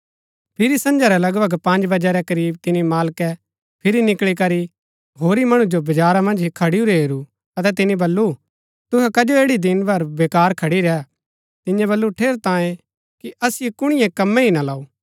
फिरी सझां रै लगभग पँज बजै रै करीब तिनी मालकै फिरी निकळी करी होरी मणु जो बजारा मन्ज खडुरै हेरू अतै तिनी बल्लू तुहै कजो ऐड़ी दिन भरी बेकार खड़ी रैह तिन्यै बल्लू ठेरैतांये कि असिओ कुणिए कंमै ही ना लाऊ